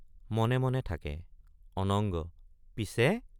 মনে মনে থাকে অনঙ্গ—পিছে।